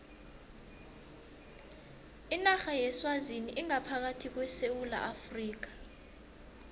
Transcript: inarha yeswazini ingaphakathi kwesewula afrika